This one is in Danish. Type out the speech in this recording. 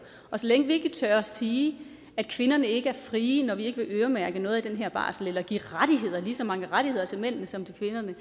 og så længe vi ikke tør sige at kvinderne ikke er frie når vi ikke vil øremærke noget af den her barsel eller give lige så mange rettigheder til mændene som til kvinderne